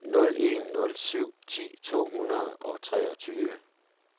nul en nul syv ti to hundrede og treogtyve